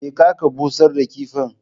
Je ka ka busar da kifin